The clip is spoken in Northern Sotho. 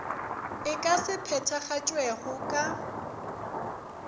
e ka se phethagatšwego ka